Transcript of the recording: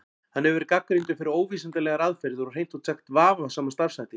Hann hefur verið gagnrýndur fyrir óvísindalegar aðferðir og hreint út sagt vafasama starfshætti.